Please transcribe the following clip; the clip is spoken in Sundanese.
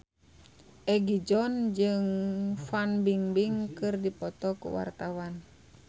Egi John jeung Fan Bingbing keur dipoto ku wartawan